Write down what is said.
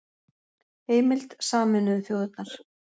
Heimild: Sameinuðu þjóðirnar